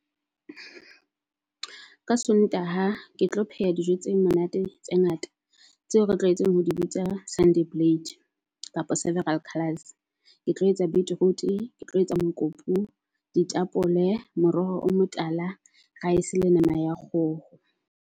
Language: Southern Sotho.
Ka Sontaha ke tlo pheha dijo tse monate tse ngata tseo re tlwaetseng ho di bitsa Sunday plate kapa several colors. Ke tlo etsa betroot, ke tlo etsa mokopu, di tapole, moroho o motala, rice le nama ya kgoho.